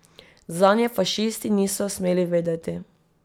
Zanje fašisti niso smeli vedeti.